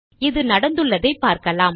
இது நடந்துள்ளதை பார்க்கலாம்